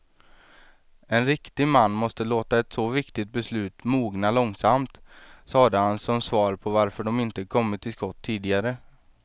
En riktig man måste låta ett så viktigt beslut mogna långsamt, sade han som svar på varför de inte kommit till skott tidigare.